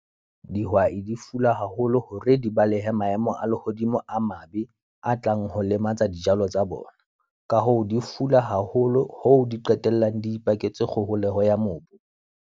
Dihwai di fula haholo hore di balehe maemo a lehodimo a mabe, a tlang ho lematsa dijalo tsa bona. Ka hoo, di fula haholo hoo di qetellang di ipaketse kgoholeho ya mobu.